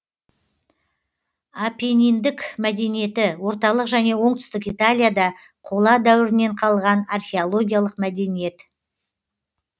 апенниндік мәдениеті орталық және оңтүстік италияда қола дәуірінен қалған археологиялық мәдениет